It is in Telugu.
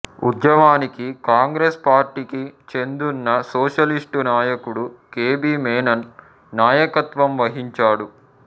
ఉద్యమానికి కాంగ్రెస్ పార్టీకి చెందున సోషలిస్టు నాయకుడు కె బి మేనన్ నాయకత్వం వహించాడు